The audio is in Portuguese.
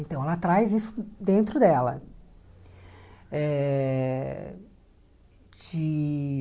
Então, ela traz isso dentro dela eh de.